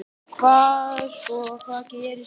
Hvað sko, hvað gerist hérna?